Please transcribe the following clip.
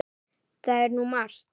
Það er nú margt.